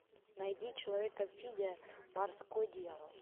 найди человек амфибия морской дьявол